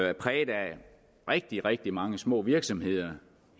er præget af rigtig rigtig mange små virksomheder